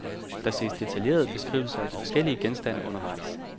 Der ses detaljerede beskrivelser af de forskellige genstande undervejs.